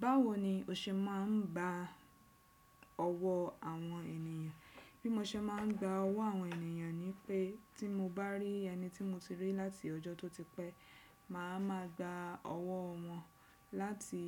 Báwo ni o ṣe máa ń ba ọwọ́ àwọn ènìyàn? Bí mo ṣe máa ń gba ọwọ́ àwọn ènìyàn ni pé tí mo bá rí ẹni tí mo ti rí láti ọjọ́ tó ti pẹ́, màá ma gba ọwọ́ wọn láti